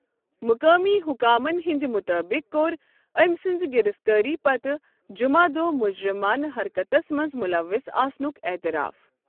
مُقٲمی حُكامن ہندِ مُطٲبِق، كوٚر أمہِ سٕنٛزِ گِرِفتٲری پتہٕ جُمع دۄہ مُجرِمانہٕ حرکتس منٛز مُلوص آسنُک اعتراف ۔